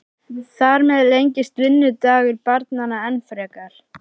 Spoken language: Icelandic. Þar með lengist vinnudagur barnanna enn frekar.